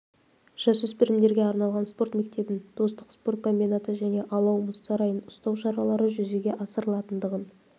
жасөспірімдерге арналған спорт мектебін достық спорт комбинаты және алау мұз сарайын ұстау шаралары жүзеге асырылатындығын